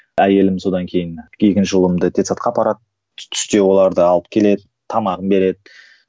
әйелім содан кейін екінші ұлымды детсадқа апарады түсте оларды алып келеді тамағын береді